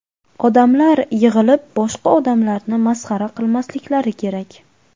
Odamlar yig‘ilib boshqa odamlarni masxara qilmasliklari kerak.